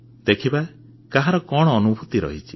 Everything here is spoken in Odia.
ଦେଖିବା କାହାର କଣ ଅନୁଭୂତି ରହିଛି